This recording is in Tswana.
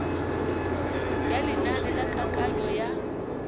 ya lenane la kananyo ya